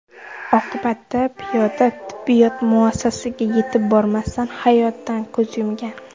Oqibatda piyoda tibbiyot muassasasiga yetib bormasdan hayotdan ko‘z yumgan.